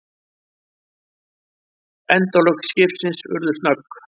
Endalok skipsins urðu snögg.